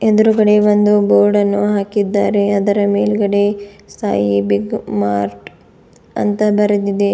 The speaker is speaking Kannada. ಎದುರುಗಡೆ ಒಂದು ಬೋಡನ್ನು ಹಾಕಿದ್ದಾರೆ ಅದರ ಮೇಲ್ಗಡೆ ಸಾಯಿ ಬಿಗ್ ಮಾರ್ಟ್ ಅಂತ ಬರೆದಿದೆ.